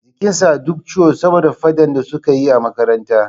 Jikin sa duk ciwo saboda faɗan da suka yi a makaranta